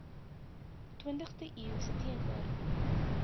twintigste eeus teenoor